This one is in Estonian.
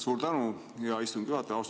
Suur tänu, hea istungi juhataja!